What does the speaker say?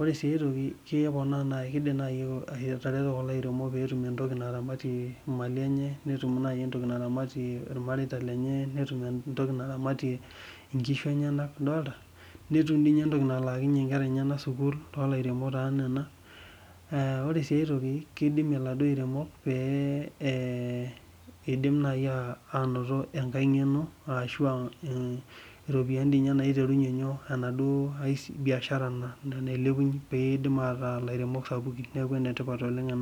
ore si aitoki kidim atareto kulo aremok petum entoki naramatie mali enebnetum emtoki naramatie irmareita lenye netim entoki naramatie nkishu enye netum entoki nalaakinye nkera enye sukul ore si aitoki kidimie lairemok indim nai ainoto enkae ngeno iropiyiani naiterinye enaduo biashara petum araa irbiasharani sapukin neaku enetipat